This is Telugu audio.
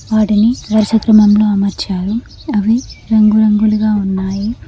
వాటిని వరుస క్రమంలో అమర్చారు అవి రంగు రంగులుగా ఉన్నాయి.